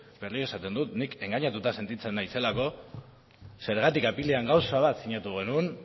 berriro esaten dut ni engainatuta sentitzen naizelako zergatik apirilean gauza bat sinatu genuen